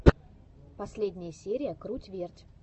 последняя серия круть верть